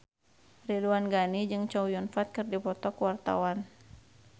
Ridwan Ghani jeung Chow Yun Fat keur dipoto ku wartawan